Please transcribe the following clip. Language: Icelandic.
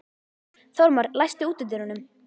Þórmar, læstu útidyrunum.